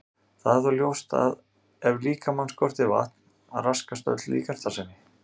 Það er þó ljóst að ef líkamann skortir vatn raskast öll líkamsstarfsemi.